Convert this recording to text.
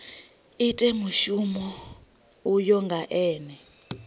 ite mushumo uyo nga ene